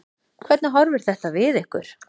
Hvernig horfir þetta við ykkur?